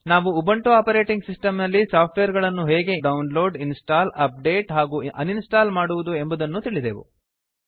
ನಾವು Ubuntu operating system ನಲ್ಲಿ software ಗಳನ್ನು ಹೇಗೆ ಇನ್ಸ್ಟಾಲ್ ಅಪ್ಡೇಟ್ ಹಾಗೂ ಅನ್ಇನ್ಸ್ಟಾಲ್ ಮಾಡುವುದು ಎಂಬುದನ್ನೂ ಕಲಿತೆವು